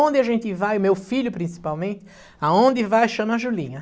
Onde a gente vai, meu filho principalmente, aonde vai chama Julinha.